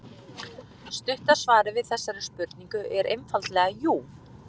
Stutta svarið við þessari spurningu er einfaldlega jú.